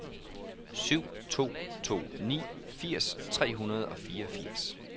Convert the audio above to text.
syv to to ni firs tre hundrede og fireogfirs